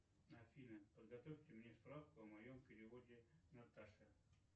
афина подготовьте мне справку о моем переводе наташе